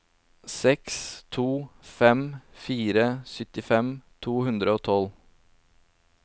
seks to fem fire syttifem to hundre og tolv